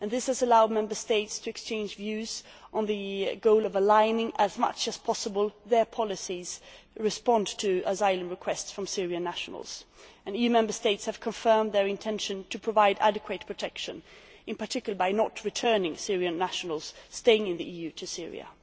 This has allowed Member States to exchange views on the goal of aligning as far as possible their policies in response to asylum requests from Syrian nationals. EU Member States have confirmed their intention to provide adequate protection, in particular by not returning Syrian nationals staying in the EU to Syria.